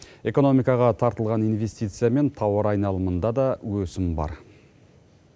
экономикаға тартылған инвестиция мен тауар айналымында да өсім бар